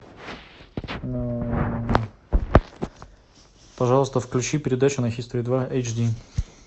пожалуйста включи передачу на хистори два эйч ди